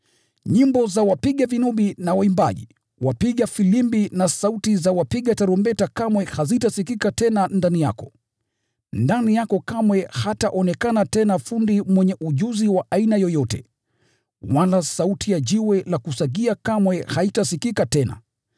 Nyimbo za wapiga vinubi na waimbaji, wapiga filimbi na wapiga tarumbeta kamwe hazitasikika tena ndani yako. Ndani yako kamwe hataonekana tena fundi mwenye ujuzi wa aina yoyote. Wala sauti ya jiwe la kusagia kamwe haitasikika tena.